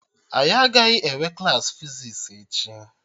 Agaghị enwe Klassị fizis echi